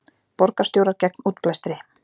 Borgarstjórar gegn útblæstri